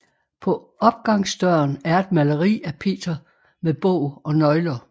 På opgangsdøren er et maleri af Peter med bog og nøgler